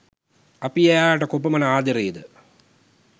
අපි එයාලට කොපමන ආදරේද